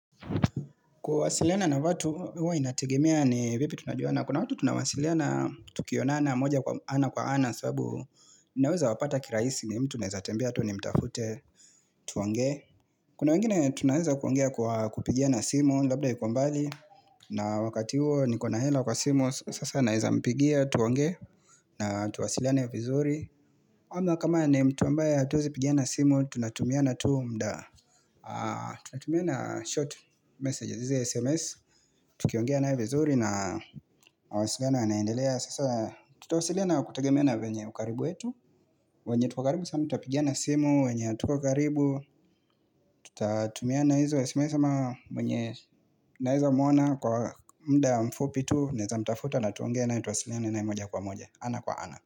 Kuwasiliana na watu hua inategemea ni vipi tunajuana kuna watu tunawasiliana tukionana moja kwa ana kwa ana sababu naweza wapata kiraisi ni mtu naeza tembea tu nimtafute tuongee. Kuna wengine tunaeza kuongea kwa kupigiana simu labda yuko mbali na wakati huo niko na hela kwa simu sasa naeza mpigia tuongee na tuwasiliane vizuri. Ama kama ni mtu ambaye hatuwezi pigiana simu tunatumiana tu mda Tunatumiana short messages, hizi SMS tukiongea naye vizuri na mawasiliano yanaendelea Sasa tutawasiliana kutegemea na venye ukaribu yetu wenye tuko karibu sana tutapigiana simu, wenye hatuko karibu Tutatumiana hizo sms ama mwenye naezamwona kwa mda mfupi tu Naeza mtafuta na tuonge naye tuwasiliane naye moja kwa moja ana kwa ana.